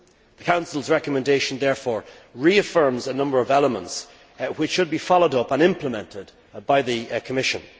The Council's recommendation, therefore, reaffirms a number of elements which should be followed up and implemented by the Commission.